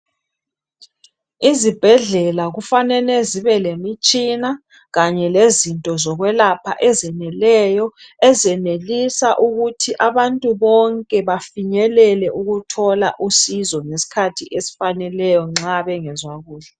Izibhedlela kufanele zibe lemitshina kanye lezinto zokwelapha ezeneleyo, ezenelisa ukuthi abantu bonke bafinyelele ukuthola usizo ngeskhathi esfaneleyo nxa bengezwa kuhle.